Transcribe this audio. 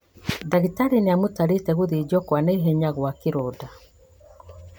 Ndagĩtarĩ nĩamũtarĩte gũthĩnjwo kwa naihenya gwa kĩronda